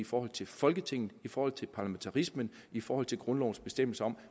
forhold til folketinget i forhold til parlamentarismen i forhold til grundlovens bestemmelser om